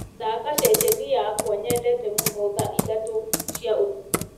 thaaka ceceni yakwa nyendete mũno thaa ithatũ cia ũtukũ